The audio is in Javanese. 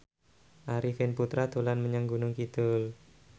Arifin Putra dolan menyang Gunung Kidul